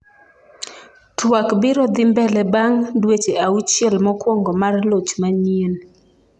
twak biro dhi mbele bang' dweche auchiel mokwongo mar loch manyien